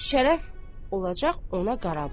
Şərəf olacaq ona qarabaş.